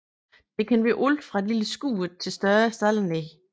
Det kan være alt fra et lille skur til større staldanlæg